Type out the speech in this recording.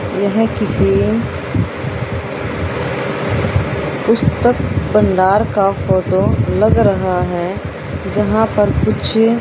यह किसी पुस्तक भंडार का फोटो लग रहा है जहां पर कुछ--